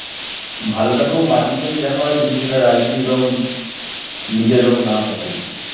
ভালো টাকেও বাজে হিসেবে দেখা হয় যদি সেটা রাজনীতির রং নিজের রং না থাকে.